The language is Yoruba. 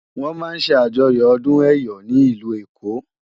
Wòn má n sè ájòyò òdún èyò ni ilú Ékó